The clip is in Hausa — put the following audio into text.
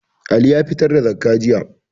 Ali ya fitar da zakkah jiya